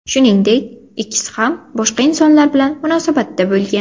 Shuningdek, ikkisi ham boshqa insonlar bilan munosabatda bo‘lgan.